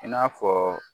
I n'a fɔ